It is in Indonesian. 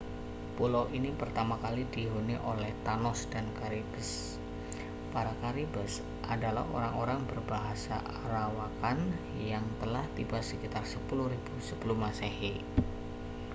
pulau ini pertama kali dihuni oleh taã­nos dan caribes. para caribes adalah orang-orang berbahasa arawakan yang telah tiba sekitar 10.000 sm